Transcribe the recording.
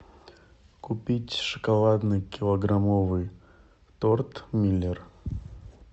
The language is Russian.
купить шоколадный килограммовый торт миллер